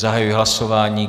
Zahajuji hlasování.